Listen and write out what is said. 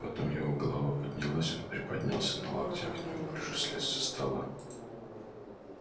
потом его голова поднялась он приподнялся на локтях неуклюже слез со стола